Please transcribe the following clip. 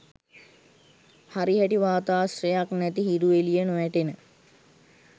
හරිහැටි වාතාශ්‍රයක් නැති හිරු එලිය නොවැටෙන